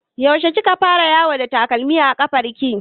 Yaushe kika fara yawo ba takalmi a ƙafar ki?